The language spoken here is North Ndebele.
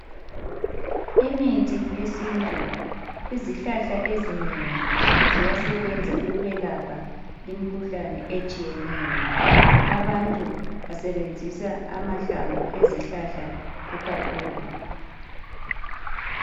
Imithi yesintu, izihlahla ezinengi ziyasebenza ukulapha imikhuhlane etshiyeneyo. Abantu basebenzisa amahlamvu ikakhulu.